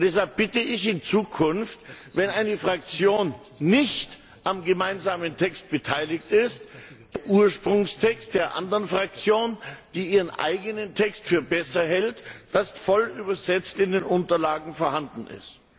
Deshalb bitte ich, dass in Zukunft, wenn eine Fraktion nicht am gemeinsamen Text beteiligt ist, der Ursprungstext der anderen Fraktion, die ihren eigenen Text für besser hält, auch voll übersetzt in den Unterlagen vorhanden ist.